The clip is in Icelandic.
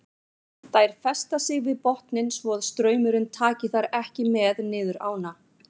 Þær festa sig við botninn svo að straumurinn taki þær ekki með niður ána.